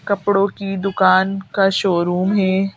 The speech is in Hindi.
कपड़ों की दुकान का शोरूम है।